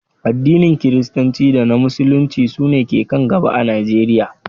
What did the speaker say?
Addinin Kiristanci da na Musulunci su ne ke kan gaba a Najeriya